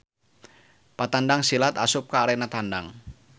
Patandang silat asup ka arena tandang.